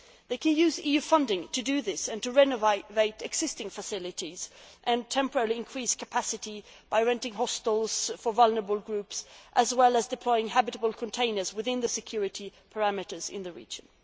They can use EU funding to do this and to renovate existing facilities and temporarily increase capacity by renting hostels for vulnerable groups, as well as deploying habitable containers within the security perimeters in the region.